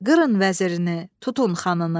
Qırın vəzirini, tutun xanını,